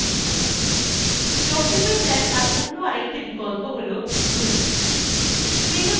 document দেখার অন্য একটি বিকল্প হল zoom